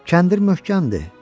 Kəndir möhkəmdir.